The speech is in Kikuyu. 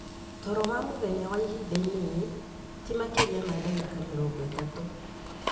Toro wa mũthenya wa ihinda inini, ti makĩria ma ndagĩka mĩrongo ĩtatũ,